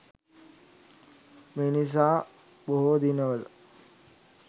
මේ නිසා බොහෝ දිනවල